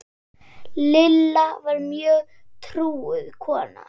Lilla var mjög trúuð kona.